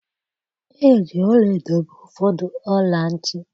Eji ọla-edo mee ụfọdụ ọla ntị